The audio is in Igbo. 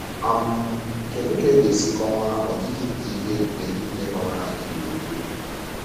um Kedu ka ị ga-esi kọwaa ọdịdị nke ihe ebube niile gbara anyị gburugburu?